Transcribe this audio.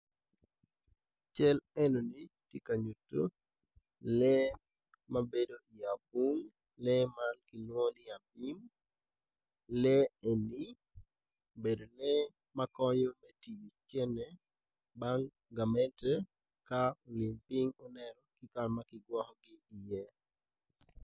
Lutini dok lutini man gitye ka ngwec kun gitye madwong adada kun gin weng gitye ma oruko bongo mapafipadi dok kalane tye patpat kungin tye ka ngwec i yo gudo ma otal adada.